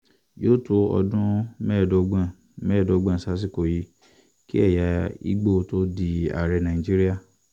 yóò tó ọdún mẹ́ẹ̀ẹ́dọ́gbọ̀n mẹ́ẹ̀ẹ́dọ́gbọ̀n sásìkò yìí kí ẹ̀yà igbó tóó di ààrẹ nàìjíríà